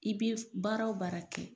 I bɛ baara o baara kɛ